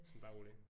Sådan bare rolig